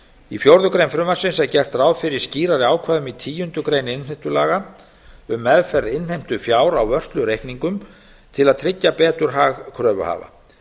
í fjórða grein frumvarpsins er gert ráð fyrir skýrari ákvæðum í tíundu greinar innheimtulaga um meðferð innheimtufjár á vörslureikningum til að tryggja betur hag kröfuhafa